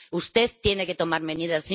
Usted tiene que tomar medidas.